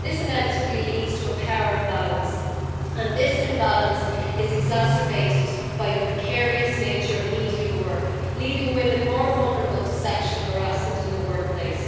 This inevitably leads to a power imbalance, and this imbalance is exacerbated by the precarious nature of media work, leaving women more vulnerable to sexual harassment in the workplace.